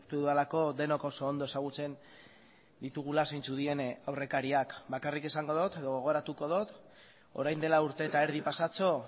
dudalako denok oso ondo ezagutzen ditugula zeintzuk diren aurrekariak bakarrik esango dut edo gogoratuko dut orain dela urte eta erdi pasatxo